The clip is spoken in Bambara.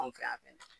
Anw fɛ yan fɛ